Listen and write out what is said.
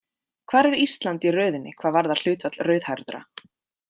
Hvar er Ísland í röðinni hvað varðar hlutfall rauðhærðra?